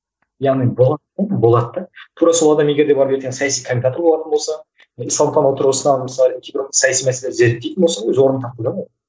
яғни тура сол адам егерде барып ертең саяси комментатор болатын болса исламтану тұрғысынан мысалы кейбір саяси мәселе зерттейтін болса өз орнын тапты да ол